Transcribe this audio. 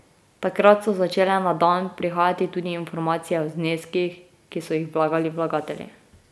Takrat so začele na dan prihajati tudi informacije o zneskih, ki so jih vlagali vlagatelji.